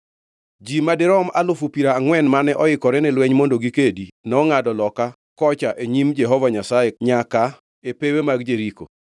Ji madirom alufu piero angʼwen mane moikore ni lweny mondo gikedi, nongʼado loka kocha e nyim Jehova Nyasaye nyaka e pewe mag Jeriko.